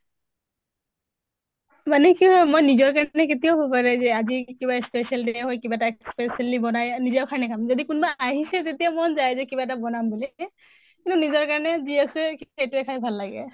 মানে কি অ মই নিজৰ কাৰণে কেতিয়াও ভবা নাই যে আজি কিবা special day হয় কিবা এটা specially বনাই নিজেও খানি খাম। যদি কোনোবা আহিছে তেতিয়া মন যায় যে কিবা এটা বনাম বুলি এ নিজৰ কাৰনে ই আছে সেইটোয়ে খাই ভাল লাগে।